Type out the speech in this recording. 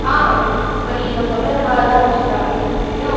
ஆஹ் நீ இப்ப நீ இதை சொன்னதனாலதான் ருச்சிதா அது எனக்கு தெரியும்